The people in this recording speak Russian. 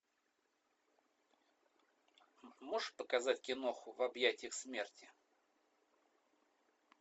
можешь показать киноху в объятиях смерти